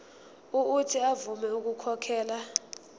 uuthi avume ukukhokhela